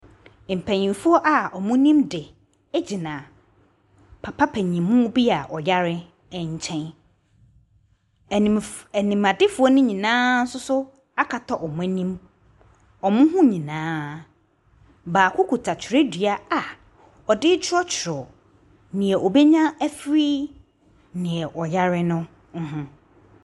Mpanimfoɔ bi a wɔnim de gyina papa paninmu bi a ɔyare nkyɛn. Animf, animadefoɔ no nyinaa nso so akata wɔn anim. Wɔn ho nyinaa. Bako kita twerɛdua a ɔde rekyerɛwkyerɛw nea obenya nyinaa afi nea ɔyare no ho.